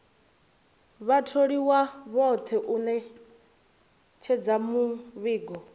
vhatholiwa vhoṱhe u ṅetshedza muvhigo